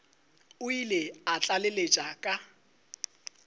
o ile a tlaleletša ka